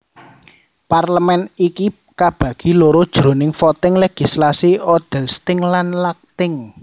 Parlemen iki kabagi loro jroning voting legislasi Odelsting lan Lagting